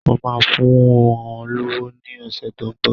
Mo máa fún ọ lówó ní ọ̀sẹ̀ tó ń bọ̀.